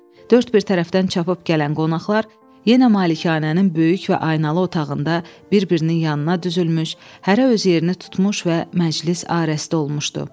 Dörd bir tərəfdən çapıb gələn qonaqlar yenə malikanənin böyük və aynalı otağında bir-birinin yanına düzülmüş, hərə öz yerini tutmuş və məclis arəsdə olmuşdu.